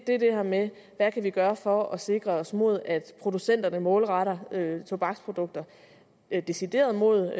er det her med hvad vi kan gøre for at sikre os mod at producenterne målretter tobaksprodukter decideret mod